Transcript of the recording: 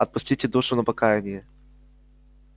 отпустите душу на покаяние